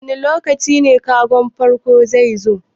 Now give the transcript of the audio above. Wane lokaci kagon farko zai zo?